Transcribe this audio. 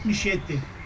77.